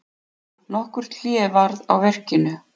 Nokkurt hlé varð á verkinu.